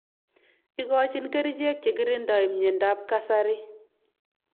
Ikochin kerixhek chekirindoi mnyendo ab kasari.